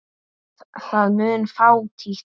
Það mun fátítt.